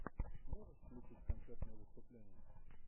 можешь включить концертное выступление